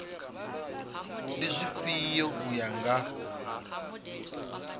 ndi dzifhio u ya nga